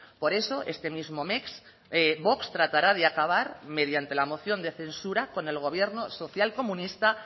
por eso este mismo mes vox tratará de acabar mediante la moción de censura con el gobierno social comunista